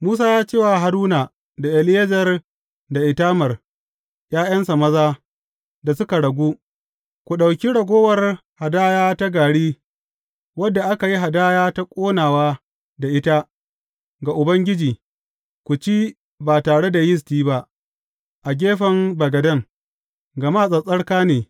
Musa ya ce wa Haruna da Eleyazar da Itamar ’ya’yansa maza da suka ragu, Ku ɗauki ragowar hadaya ta gari wadda aka yi hadaya ta ƙonawa da ita ga Ubangiji ku ci ba tare da yisti ba, a gefen bagaden, gama tsattsarka ne.